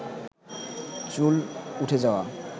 চুল উঠে যাওয়া